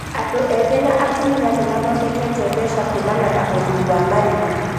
andũ ethĩ na atumia nĩmathondeke mbeca kumana na ũrĩmi wa marigũ